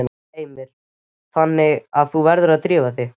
Heimir: Þannig að þú verður að drífa þig?